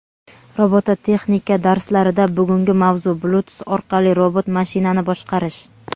Robototexnika darslarida bugungi mavzu: Bluetooth orqali robot mashinani boshqarish.